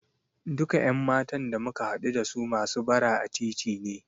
Duka ƴan matan da muka haɗu dasu masu bara a titi ne.